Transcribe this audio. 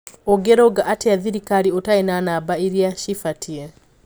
"Ungirũnga atia thirikari utarĩ na namba iria cibatie?"